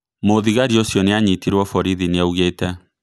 Mũũthigari ũcio nĩanyitirwo Borithi nĩaugete.